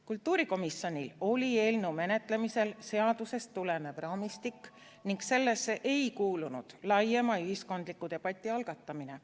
Kultuurikomisjonil oli eelnõu menetlemisel seadusest tulenev raamistik ning sellesse ei kuulunud laiema ühiskondliku debati algatamine.